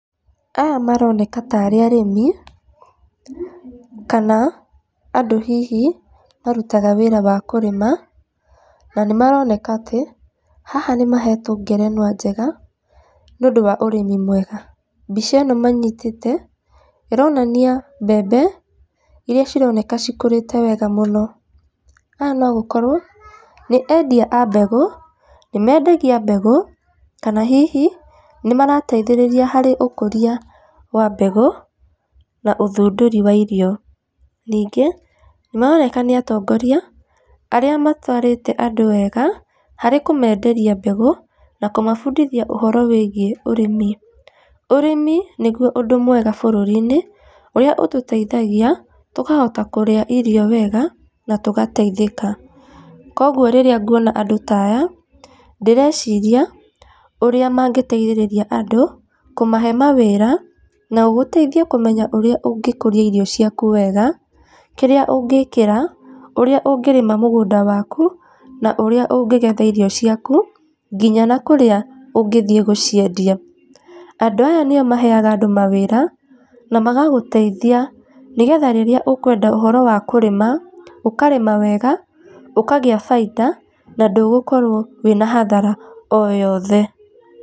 Aya moroneka tarĩ arĩmi, kana andũ hihi marutaga wĩra wa kũrĩma, na nĩ maroneka atĩ haha nĩ mahetwo ngerenwa njega nĩ ũndũ wa ũrĩmi mwega. Mbica ĩno manyitĩte ĩronania mbembe iria cironeka cikũrĩte weega mũno. Aya no gũkorwo nĩ endia a mbegũ nĩ mendagia mbegũ kana hihi nĩ marateithĩrĩria harĩ ũkũria wa mbegũ na ũthundũri wa irio. Ningĩ nĩ maroneka nĩ atongoria arĩa matwarĩte andũ wega harĩ kũmenderia mbegũ na kũmabundithia ũhoro wĩgiĩ ũrĩmi. Ũrĩmi nĩguo ũndũ mwega bũrũri-inĩ ũrĩa ũtũteithagia tũkahota kũrĩa irio wega na tũgateithĩka. Koguo rĩrĩa nguona andũ ta aya ndĩreciria ũrĩa mangĩteithĩrĩria andũ kũmahe mawĩra na gũgũteithia kũmenya ũrĩa ũngĩkũria irio ciaku wega kĩrĩa ũngĩkĩra, ũrĩa ũngĩrĩma mũgũnda waku, na ũrĩa ũngĩgetha irio ciaku, nginya na kũrĩa ũngĩthiĩ gũciendia. Andũ aya nĩo maheaga andũ mawĩra na magagũteithia nĩgetha rĩrĩa ũkwenda ũhoro wa kũrĩma, ũkarĩma wega, ũkagĩa baita, na ndũgũkorwo wĩna hathara o yothe.